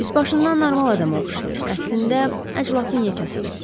Üzbaşından normal adama oxşayır, əslində əclafın yekəsidir.